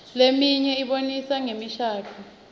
leminye ibonisa ngemishadvo